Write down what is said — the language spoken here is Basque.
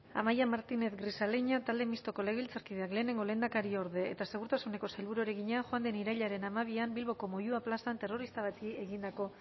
amaia martínez grisaleña talde mistoko legebiltzarkideak lehenengo lehendakariorde eta segurtasuneko sailburuari egina joan den irailaren hamabian bilboko moyua plazan terrorista bati egindako